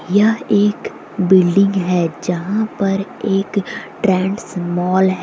यह एक बिल्डिंग है जहां पर एक ट्रैंड्स मोल है।